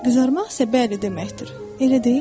Qızarmaq isə bəli deməkdir, elə deyilmi?